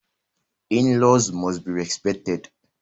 In-laws must be respected